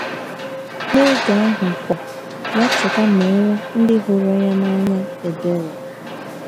N’oge ahụ kwa, ya cheta meere ndị hụrụ ya n’anya ebere!